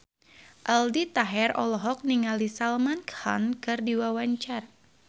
Aldi Taher olohok ningali Salman Khan keur diwawancara